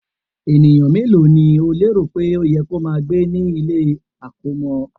Ènìyàn mélòó ni o lérò pé ó yẹ kí ó máa gbé ní ilé-àkọ́mọ́?